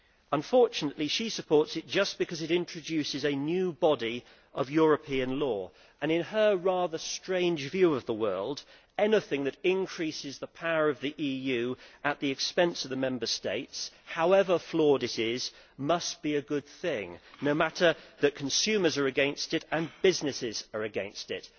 Unfortunately she supports it just because it introduces a new body of European law, and in her rather strange view of the world, anything that increase the power of the EU at the expense of the Member States, however flawed it is, must be a good thing no matter that consumers and businesses are against it.